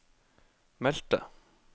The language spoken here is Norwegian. meldte